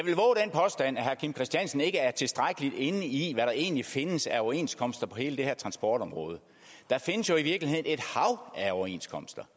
herre kim christiansen ikke er tilstrækkeligt inde i hvad der egentlig findes af overenskomster på hele det her transportområde der findes jo i virkeligheden et hav af overenskomster